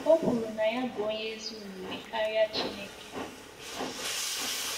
O kwuru na ya bụ onye ezi omume karịa chineke.